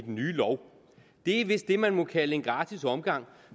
i den nye lov det er vist det man må kalde en gratis omgang